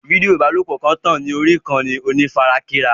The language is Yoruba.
Fídíò ìbálòpọ̀ kan ń tàn ká orí ìkànnì onífarakínra.